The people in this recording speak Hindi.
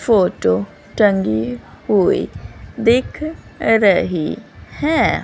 फोटो टंगी हुई दिख रही हैं।